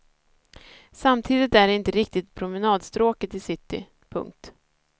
Samtidigt är det inte riktigt promenadstråket i city. punkt